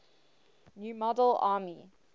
new model army